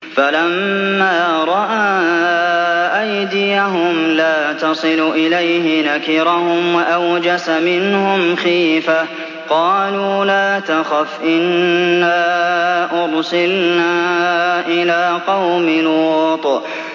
فَلَمَّا رَأَىٰ أَيْدِيَهُمْ لَا تَصِلُ إِلَيْهِ نَكِرَهُمْ وَأَوْجَسَ مِنْهُمْ خِيفَةً ۚ قَالُوا لَا تَخَفْ إِنَّا أُرْسِلْنَا إِلَىٰ قَوْمِ لُوطٍ